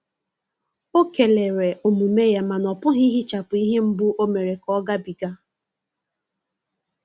Ọ kelere omume ya, mana ọpughi ihechapu ihe mgbu o mere ka ọ ga bi ga.